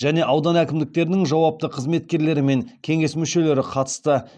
және аудан әкімдіктерінің жауапты қызметкерлері мен кеңес мүшелері қатысты